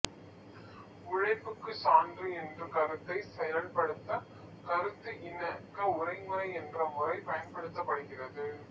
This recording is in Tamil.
உழைப்புக்குச் சான்று என்ற கருத்தைச் செயல் படுத்த கருத்து இணக்க உரைமுறை என்ற முறை பயன் படுத்தப் படுகின்றது